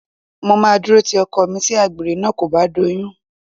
Mo máa dúró ti ọkọ mi tí àgbèrè náà kò bá doyún